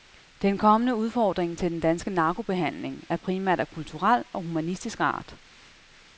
Den kommende udfordring til den danske narkobehandling er primært af kulturel og humanistisk art.